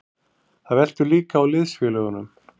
Þetta veltur líka á liðsfélögunum.